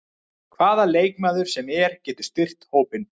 Hvaða leikmaður sem er getur styrkt hópinn.